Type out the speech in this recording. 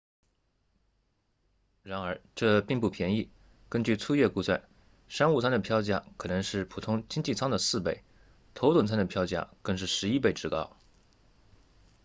然而这并不便宜根据粗略估算商务舱的票价可能是普通经济舱的4倍头等舱的票价更是11倍之高